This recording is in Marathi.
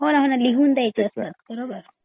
हो ना हो ना लिहून द्यायच असतं बरोबर